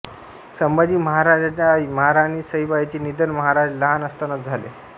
संभाजी महाराजांच्या आई महाराणी सईबाईंचे निधन महाराज लहान असतानाच झाले